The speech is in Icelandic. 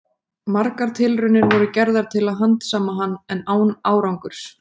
Margar tilraunir voru gerðar til að handsama hann, en án árangurs.